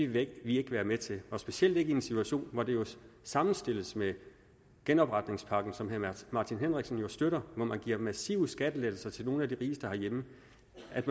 vil vi ikke være med til og specielt ikke i en situation hvor det sammenstilles med genopretningspakken som herre martin henriksen jo støtter man giver massive skattelettelser til nogle af de rigeste herhjemme